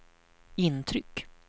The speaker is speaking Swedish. intryck